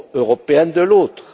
européenne, de l'autre.